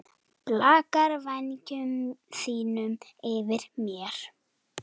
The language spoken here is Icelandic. Blakar vængjum sínum yfir mér.